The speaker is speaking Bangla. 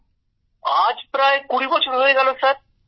গৌরব আজ প্রায় কুড়ি বছর হয়ে গেল